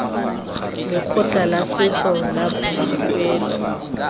lekgotla la setso la boikuelo